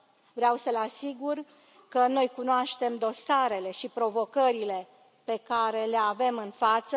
Vreau să îl asigur că noi cunoaștem dosarele și provocările pe care le avem în față.